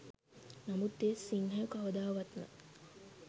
නමුත් ඒ සිංහයෝ කවදාවත්ම